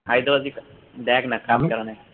হায়দ্রাবাদ ই তো দেখ না cup কারা নেয়